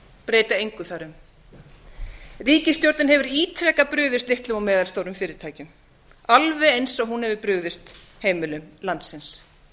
breyta engu þar um ríkisstjórnin hefur ítrekað brugðist litlum og meðalstórum fyrirtækjum alveg eins og hún hefur brugðist heimilum landsins